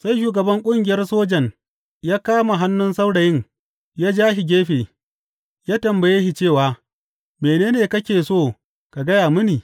Sai shugaban ƙungiyar sojan ya kama hannun saurayin ya ja shi gefe, ya tambaye shi cewa, Mene ne kake so ka gaya mini?